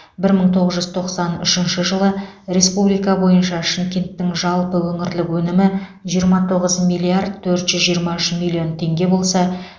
бір мың тоғыз жүз тоқсан үшінші жылы республика бойынша шымкенттің жалпы өңірлік өнімі жиырма тоғыз миллиард төрт жүз жиырма үш миллион теңге болса